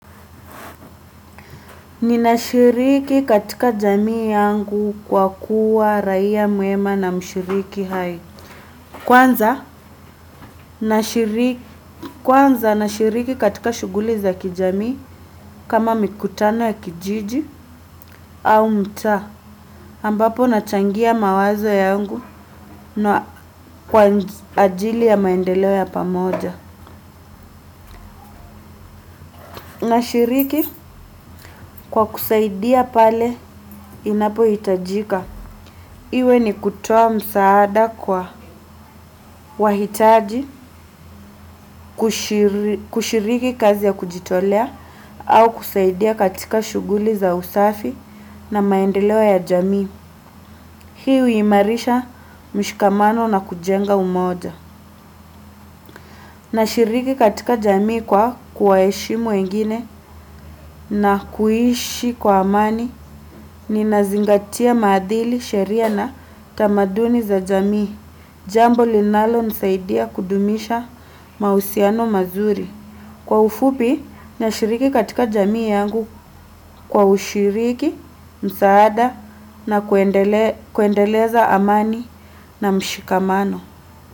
Ninashiriki katika jamii yangu kwa kuwa raia mwema na mshiriki hai. Kwanza nashiriki katika shughuli za kijamii kama mikutano ya kijiji au mtaa. Ambapo nachangia mawazo yangu kwa ajili ya maendeleo ya pamoja. Nashiriki kwa kusaidia pale inapohitajika. Iwe ni kutoa msaada kwa wahitaji kushiriki kazi ya kujitolea au kusaidia katika shughuli za usafi na maendeleo ya jamii. Hii huimarisha mshikamano na kujenga umoja. Nashiriki katika jamii kwa kuwaheshimu wengine na kuishi kwa amani ninazingatia maadili sheria na tamaduni za jamii. Jambo linalonisaidia kudumisha mahusiano mazuri. Kwa ufupi, nashiriki katika jamii yangu kwa ushiriki, msaada na kuendeleza amani na mshikamano.